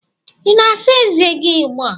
Ị na-asa ezé gị ugbu a?